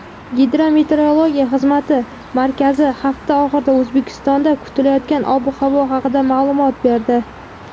Gidrometeorologiya xizmati markazi hafta oxirida O‘zbekistonda kutilayotgan ob-havo haqida ma’lumot berdi.